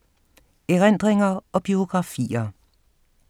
Erindringer og biografier